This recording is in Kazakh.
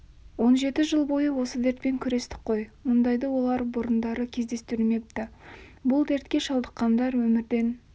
он жеті жыл бойы осы дертпен күрестік қой мұндайды олар бұрындары кездестірмепті бұл дертке шалдыққандар өмірден